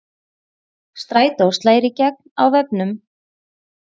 Strætó slær í gegn á vefnum